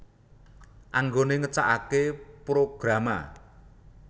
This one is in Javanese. Anggone ngecakake Programa